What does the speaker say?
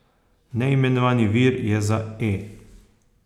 Neimenovani vir je za E!